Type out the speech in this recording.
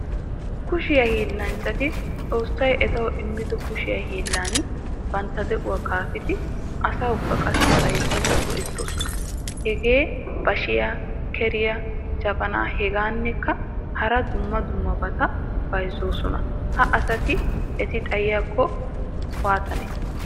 Kushiyaa hillanchchati xoossay ettawu immido kushshe hiillan bantta de'uwaa kaafidi asawukka qassi bayzzidi go'ettoosona. Hagee bashiyaa, keriya, jabaana hegadankka hara dumma dummabata bayzzoosona. Ha asa eti xayiyako waatanee?